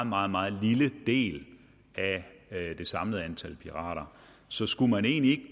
meget meget lille del af det samlede antal pirater så skulle man egentlig